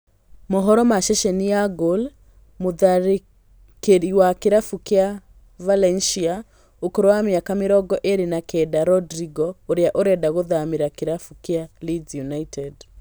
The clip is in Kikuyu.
Mohoro ma ceceni ya Goal, mũtharĩkĩri wa kĩrabu kĩa Valencia ũkũrũ wa mĩaka mĩrongo ĩrĩ na kenda Rodrigo ũrĩa ũrenda gũthamĩra kĩrabu kĩa Leeds United